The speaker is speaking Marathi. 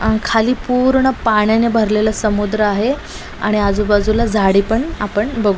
अ-ह- खाली पूर्ण पाण्याने भरलेल समुद्र आहे आणि आजू बाजूला झाडे पण आपण बघू--